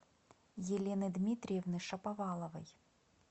елены дмитриевны шаповаловой